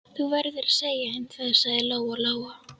Þú verður að segja henni það, sagði Lóa-Lóa.